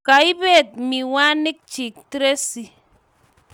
Kaibet miwanik chi Tracy